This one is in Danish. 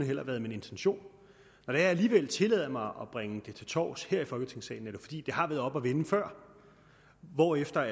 heller været min intention når jeg alligevel tillader mig at bringe det til torvs her i folketingssalen er det fordi det har været oppe at vende før hvorefter